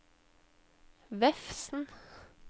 Vefsn